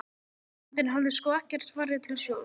Frændinn hafði sko ekkert farið til sjós.